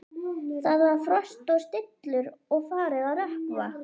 Það var frost og stillur og farið að rökkva.